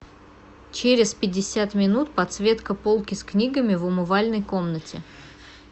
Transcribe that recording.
через пятьдесят минут подсветка полки с книгами в умывальной комнате